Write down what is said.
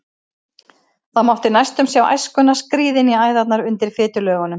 Það mátti næstum sjá æskuna skríða inn í æðarnar undir fitulögunum.